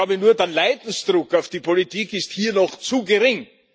Ich glaube nur, der Leidensdruck auf die Politik ist hier noch zu gering.